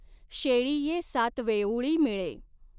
शेळिये सातवेउळी मिळे।